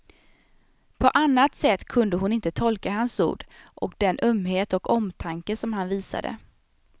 På annat sätt kunde hon inte tolka hans ord och den ömhet och omtanke som han visade.